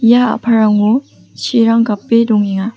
ia a·palrango chirang gape dongenga.